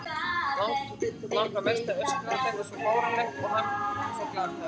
Langar mest til að öskra, þetta er svo fáránlegt og hann svo glataður.